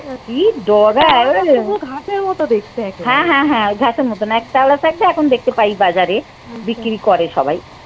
কি ডগা হ্যাঁ হ্যাঁ হ্যাঁ। ঘাসের মতন। তেওড়া শাক তা এখন দেখতে পাই বাজারে বিক্রি করে সবাই।